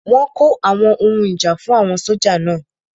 Wọ́n kó àwọn ohun ìjà fún àwọn sójà náà